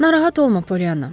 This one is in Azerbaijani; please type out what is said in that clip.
Narahat olma, Polyanna.